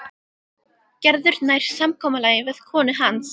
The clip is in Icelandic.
Gerður nær samkomulagi við konu hans.